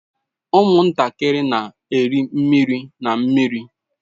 Ụmụntakịrị na-eri mmiri na mmiri.